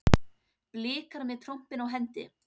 Blikar með trompin á hendi